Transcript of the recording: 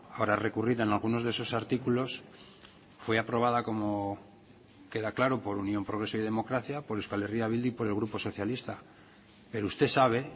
para recurrir en algunos de esos artículos fue aprobada como queda claro por unión progreso y democracia por euskal herria bildu y por el grupo socialista pero usted sabe